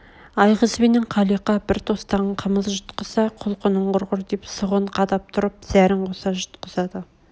айғыз бенен қалиқа бір тостаған қымыз жұтқызса құлқының құрғыр деп сұғын қадап тұрып зәрін қоса жұтқызады